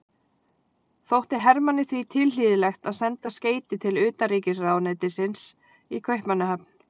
Þótti Hermanni því tilhlýðilegt að senda skeyti til utanríkisráðuneytisins í Kaupmannahöfn.